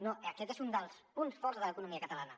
no aquest és un dels punts forts de l’economia catalana